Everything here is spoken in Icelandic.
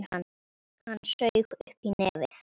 Hann saug upp í nefið.